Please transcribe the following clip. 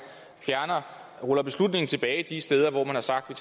ruller beslutningen tilbage de steder hvor man har sagt